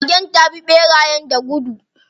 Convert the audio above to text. Magen ta bi ɓerayen da gudu.